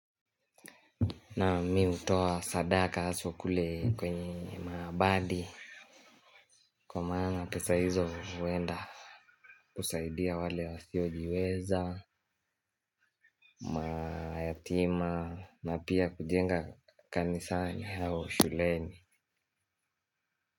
Naam mi hutoa sadaka haswa kule kwenye mabadi. Kwa maana pesa hizo huenda kusaidia wale wasiojiweza. Mayatima na pia kujenga kanisani au shuleni.